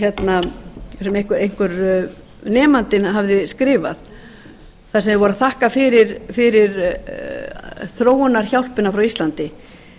lúna skólatöflu sem einhver nemandinn hafði skrifað þar sem þeir voru að þakka fyrir þróunarhjálpina frá íslandi